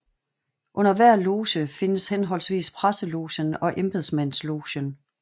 Under hver loge findes henholdvis presselogen og embedsmandslogen